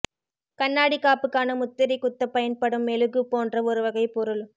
கண்ணாடி காப்பு க்கான முத்திரை குத்தப் பயன்படும் மெழுகு போன்ற ஒரு வகைப் பொருள்